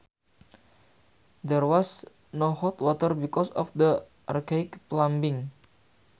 There was no hot water because of the archaic plumbing